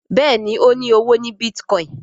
Béèni o ní ọwọ ní Bitcoin.